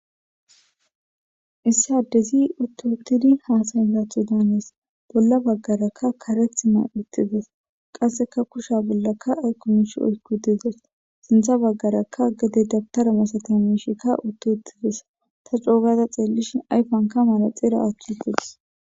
Issi adezzi utti uttidi hasaya gaththo domides.bolla bagaraka kareththi mayi uttides.qasekka kushsha bollakka ayiko mishshi oyikk uttides.sinththa bagarakka gede dabitare masatiza mishshe oyikkidi uttides.taa coo gada xellishshin ayifa bolla manexxire woththidi des.